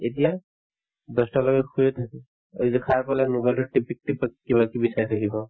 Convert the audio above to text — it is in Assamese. এতিয়া দহটা বজাত শুইয়ে থাকে আৰু যদি সাৰ পালে mobile তোতে টিপিক টিপক কিবাকিবি চাই থাকিব